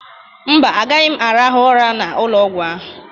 Mba, agaghị m arahụ ụra n'ụlọọgwụ ahụ.